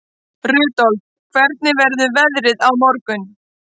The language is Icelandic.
Rudolf, hvernig verður veðrið á morgun?